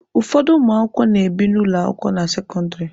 Ụfọdụ ụmụakwụkwọ na-ebi n'ụlọ akwụkwọ na sekọndịrị.